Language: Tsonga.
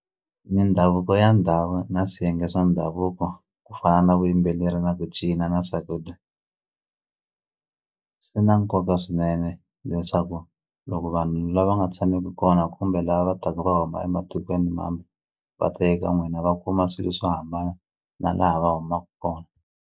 Mindhavuko ya ndhawu na swiyenge swa ndhavuko ku fana na vuyimbeleri na ku cina na swakudya swi na nkoka swinene leswaku loko vanhu la va nga tshameki kona kumbe lava va taku va huma ematikweni mambe va ta eka n'wina va kuma swilo swo hambana na laha va humaka kona.